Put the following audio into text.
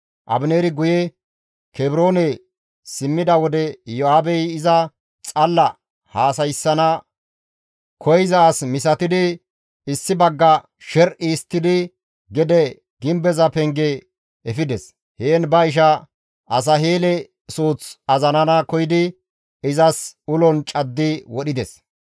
Abineeri guye Kebroone simmida wode Iyo7aabey iza xalla haasayssana koyza as misatidi issi bagga sher7i histtidi gede gimbeza penge efides; heen ba isha Asaheele suuth azarana koyidi izas ulon caddi wodhides.